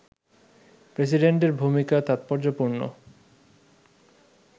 প্রেসিডেন্টের ভূমিকা তাৎপর্যপূর্ণ